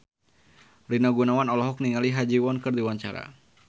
Rina Gunawan olohok ningali Ha Ji Won keur diwawancara